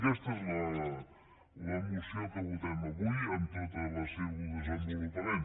aquesta és la moció que votem avui en tot el seu desenvolupament